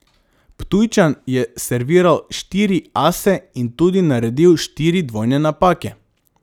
Ptujčan je serviral štiri ase in tudi naredil štiri dvojne napake.